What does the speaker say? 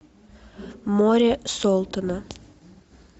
море солтона